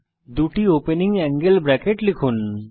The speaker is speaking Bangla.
দুটি ওপেনিং অ্যাঙ্গেল ব্রেকেট লিখুন